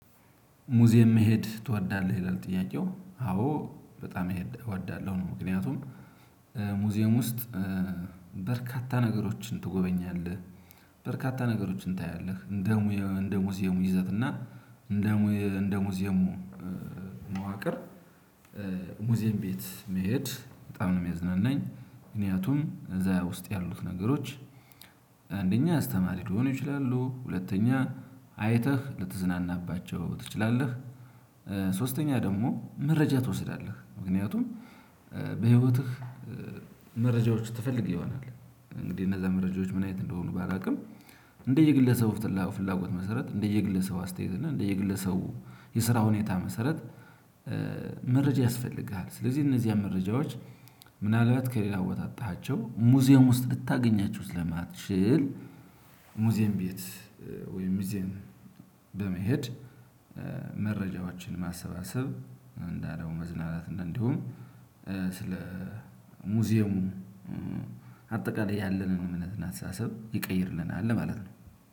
ሙዚየም? መሄድ ትወዳለህ ይላል ጥያቄው አዎ በጣም እወዳለሁ ምክንያቱም ሙዚየም ውስጥ በርካታ ነገሮችን ትጎበኛለህ። በርካታ ነገሮችን ታያለህ እንደ ሙያ እንደሙዚየሙ ይዘትና እንደሙዚየሙ መዋቅር። ሙዚየም ቤት መሄድ በጣም ነው የሚያዝናናኝ። ምክንያቱም እዛ ውስጥ ያሉት ነገሮች። አንደኛ አስተማሪ ሊሆኑ ይችላሉ ሁለተኛ አይተህ ልትዝናናባቸው ትችላለህ። ሶስተኛ ደግሞ መረጃ ትወስዳለህ ምክንያቱም በህይወትህ መረጃዎች ትፈልግ ይሆናል። እንግዲህ እነዛ መረጃዎች ምን አይነት እንደሆኑ ባላውቅም። እንደየ ግለሰቡ ፍላጎት መሰረት እንደየ ግለሰቡ አስተያየት እንደየና ግለሰቡ የስራ ሁኔታ መሰረት። መረጃ ያስፈልግሃል ስለዚህ እነዚህ መረጃዎች። ምናልባት ከሌላ ቦታ አጥተሃቸው ሙዚየም ውስጥ ልታገኛቸው ለማትችል። ሙዚየም ቤት ወይም ሙዚየም በመሄድ መረጃዎቻችን ማሰባሰብ እንዳለው መዝናናት። እንደውም ስለ ሙዚየሙ አጠቃላይ ያለንን እምነት እና አስተሳሰብ ይቀይርልናል ለማለት ነው።